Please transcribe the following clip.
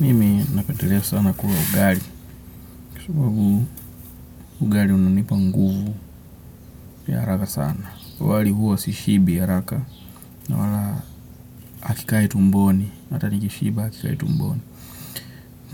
Mimi napendelea sana kula ugali kwa sababu ugali unanipa nguvu ya haraka sana wali huwa sishibi haraka. Na wala akikai tumboni na atani kishiba akikai tumboni.